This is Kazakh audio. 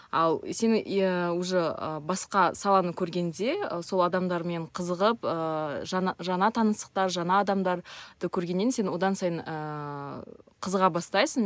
ал сен иә уже ы басқа саланы көргенде сол адамдармен қызығып ыыы жана жана таныстықтар жаңа адамдарды көргеннен сен одан сайын ыыы қызыға бастайсың